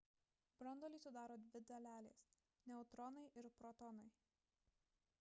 branduolį sudaro dvi dalelės – neutronai ir protonai